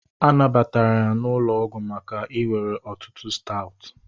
A nabatara ya n'ụlọ ọgwụ maka iwere ọtụtụ Stout